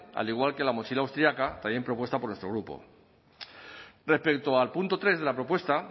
al igual que la mochila austriaca también propuesta por nuestro grupo respecto al punto tres de la propuesta